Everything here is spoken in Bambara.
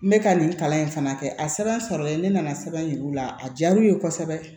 N bɛ ka nin kalan in fana kɛ a sɛbɛn sɔrɔlen ne nana sɛbɛn yir'u la a diyara u ye kosɛbɛ